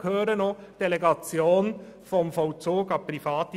Dazu gehört auch die Delegation des Vollzugs an Private.